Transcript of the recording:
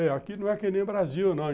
É, aqui não é que nem o Brasil, não.